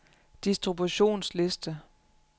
distributionsliste